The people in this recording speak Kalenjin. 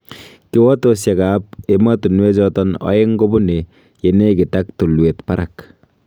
Kiwotosiek ab emotunwechoton oeng kobunee yenegit ak tulwet barak.